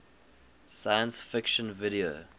science fiction video